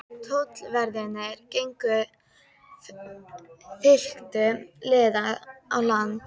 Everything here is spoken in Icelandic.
Tollverðirnir gengu fylktu liði á land.